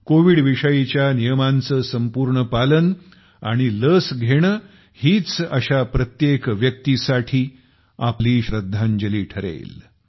Covid विषयीच्या नियमांचं संपूर्ण पालन आणि लस घेणे हीच अशा प्रत्येक व्यक्तीसाठी आपली श्रद्धांजली ठरेल